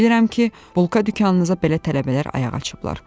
Bilirəm ki, bulka dükanınıza belə tələbələr ayaq açıblar.